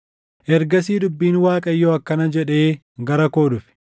Ergasii dubbiin Waaqayyoo akkana jedhee gara koo dhufe: